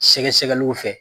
Sɛgɛsɛgɛliw fɛ